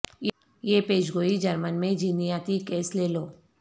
یہ پیش گوئی جرمن میں جینیاتی کیس لے لو